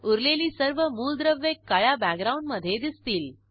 उरलेली सर्व मूलद्रव्ये काळ्या बॅकग्राऊंडमधे दिसतील